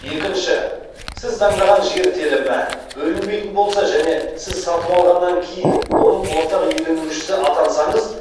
екінші сіз таңдаған жер телімі бөлінбейтін болса және сіз сатып алғаннан кейін оның ортақ иеленушісі атансаңыз